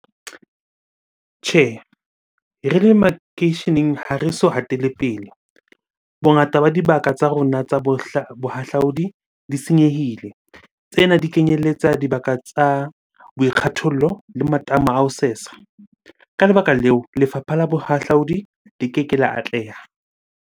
Tjhe, re le makeisheneng ha re so hatele pele. Bongata ba dibaka tsa rona tsa bohahlaudi di senyehile. Tsena di kenyelletsa dibaka tsa boikgathollo le matamo a ho sesa. Ka lebaka leo, lefapha la bohahlaudi di keke la atleha.